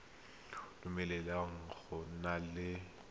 dumeleleng go nna le boagi